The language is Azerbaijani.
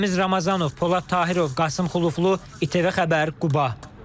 Ramiz Ramazanov, Polad Tahirov, Qasım Xuluflu, İTV Xəbər, Quba.